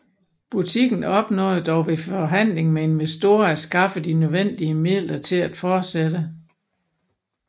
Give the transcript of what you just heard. Butikken opnåede dog ved forhandling med investorer at skaffe de nødvendige midler til at fortsætte